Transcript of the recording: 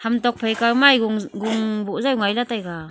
ham tok phaika ma e gung gung boh jaw ngailey taiga.